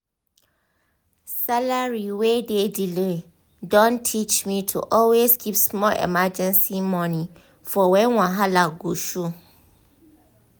salary wey dey delay don teach me to always keep small emergency money for when wahala go show